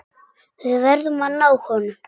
Við verðum að ná honum.